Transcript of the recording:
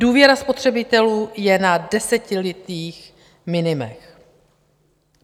Důvěra spotřebitelů je na desetiletých minimech.